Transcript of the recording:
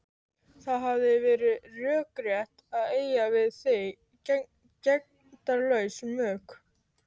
Það hefði verið rökrétt að eiga við þig gegndarlaus mök.